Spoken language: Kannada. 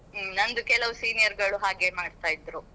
ಹ್ಮ್ ನಂದು ಕೆಲವ್ seniors ಗಳು ಹಾಗೆ ಮಾಡ್ತಾ ಇದ್ರು.